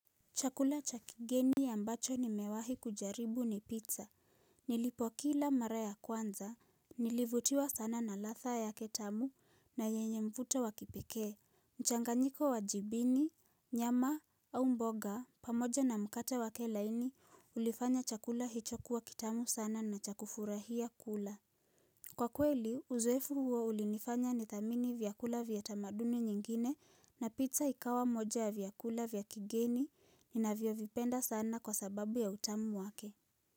Chakula cha kigeni ya ambacho nimewahi kujaribu ni pizza. Nilipokila mara ya kwanza, nilivutiwa sana na latha yake tamu na yenye mvuto wa kipekee. Mchanganyiko wa jibini, nyama au mboga pamoja na mkate wake laini ulifanya chakula hicho kuwa kitamu sana na cha kufurahia kula. Kwa kweli, uzoefu huo ulinifanya nitamani vyakula vya tamaduni nyingine na pizza ikawa moja ya vyakula vya kigeni ninavyovipenda sana kwa sababu ya utamu wake.